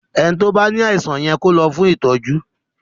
ẹní tí o bá ní àìsàn yẹ kò ló fún ìtọjú.